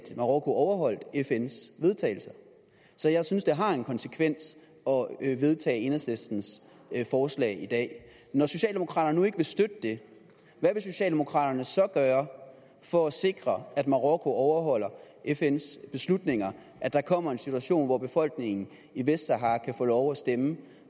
marokko overholdt fns vedtagelse så jeg synes det har en konsekvens at vedtage enhedslistens forslag i dag når socialdemokraterne nu ikke vil støtte det hvad vil socialdemokraterne så gøre for at sikre at marokko overholder fns beslutninger at der kommer en situation hvor befolkningen i vestsahara kan få lov til at stemme